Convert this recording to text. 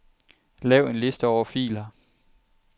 Lav en liste over filer.